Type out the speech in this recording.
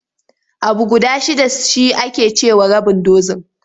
Abu guda shidda shi ake ce wa rabin dozin.